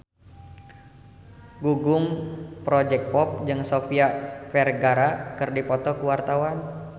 Gugum Project Pop jeung Sofia Vergara keur dipoto ku wartawan